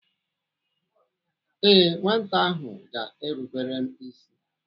Ee, nwata ahụ ga-erubere m ịsị.